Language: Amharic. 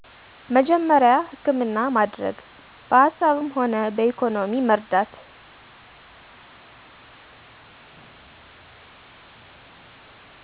መጀመሪያ ሀከምና ማደረግ በሀሳብምሆና በኢኮኖሚ መርዳት